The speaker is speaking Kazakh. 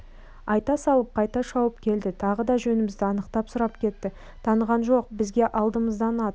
айта салып қайта шауып келді тағы да жөнімізді анықтап сұрап кетті таныған жоқ бізге алдымыздан ат